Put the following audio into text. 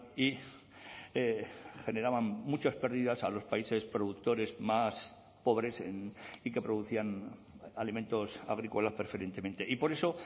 y generaban muchas pérdidas a los países productores más pobres y que producían alimentos agrícolas preferentemente y por eso